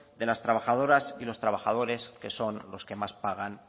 de las trabajadoras y los trabajadores que son los que más pagan